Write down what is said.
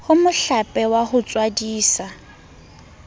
ho mohlape wa ho tswadisa